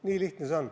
Nii lihtne see on.